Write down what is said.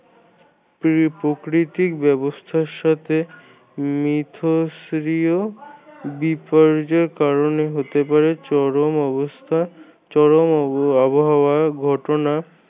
এই প্রকৃতিক ব্যবস্থার সাথে মিথষ্ক্রিয় বিপর্যয় কারণে হতে পারে চরম অবস্থা চরম অব আবহাওয়ার ঘটনা